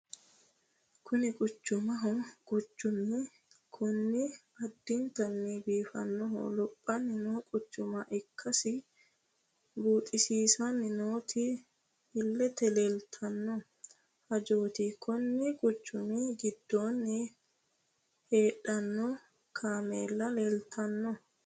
Kuni quchumaho quchumu kuni addintanni biifannonna lophanni no quchuma ikkasi buuxisiissanni nooti illete leeltanno hajooti konni quchumi giddoonni hadhanno kameella leeltanno.